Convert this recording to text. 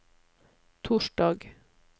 torsdag